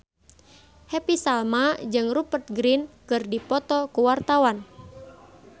Happy Salma jeung Rupert Grin keur dipoto ku wartawan